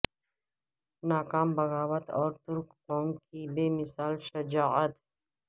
ناکام بغاوت اور ترک قوم کی بے مثال شجاعت